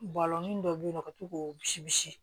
Bɔlɔnin dɔ be yen nɔ ka to k'o bisi